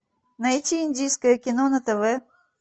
найти индийское кино на тв